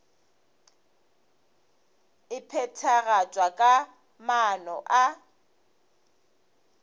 e phethagatšwa ka maano a